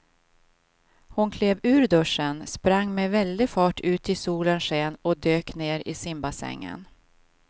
Hon klev ur duschen, sprang med väldig fart ut i solens sken och dök ner i simbassängen.